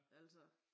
Altså